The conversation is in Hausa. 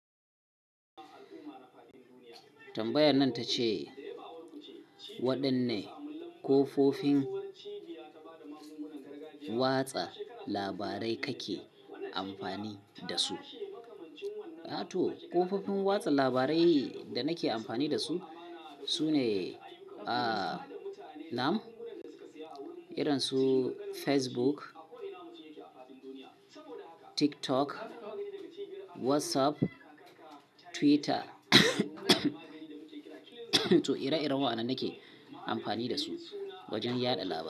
Tambayan nan ta ce waɗanne ƙofofin watsa labarai kake amfani da su? To kafofin watsa labarai da nake amfani da su sune, a na, am irin su Facebook, TikTok, WhatsApp, Twitter. To ire-iren waɗannan nake amfani da su wajen yaɗa labarai.